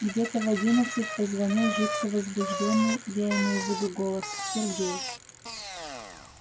где-то в одиннадцать позвонил жутко возбуждённый я имею в виду голос сергей